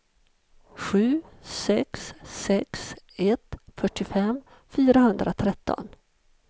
sju sex sex ett fyrtiofem fyrahundratretton